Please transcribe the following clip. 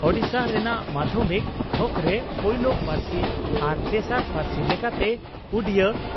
ᱳᱰᱤᱥᱟ ᱨᱮᱱᱟᱜ ᱢᱟᱫᱷᱭᱚᱢᱤᱠ ᱛᱷᱚᱠᱨᱮ ᱯᱩᱭᱞᱳ ᱯᱟᱨᱥᱤ ᱟᱨ ᱛᱮᱥᱟᱨ ᱯᱟᱨᱥᱤ ᱞᱮᱠᱟᱛᱮ ᱩᱰᱤᱭᱟᱹ